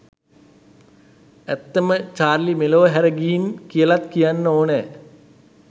ඇත්තම චාර්ලි මෙලොව හැර ගිහින් කියලත් කියන්න ඕනේ